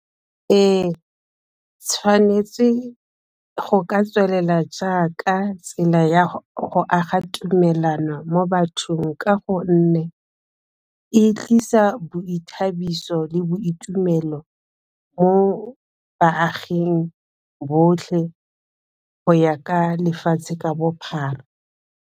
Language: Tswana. Ee tshwanetse go ka tswelela jaaka tsela ya go aga tumelano mo bathong, ka gonne e tlisa boithabiso le boitumelo mo baaging botlhe go ya ka lefatshe ka bophara.